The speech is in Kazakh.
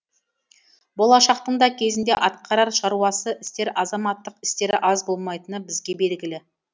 болашақтың да кезінде атқарар шаруасы істер азаматтық істері аз болмайтыны бізге белгілі